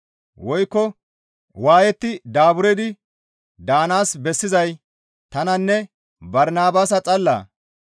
Woykko waayetti daaburdi daanaas bessizay tananne Barnabaasa xallaa?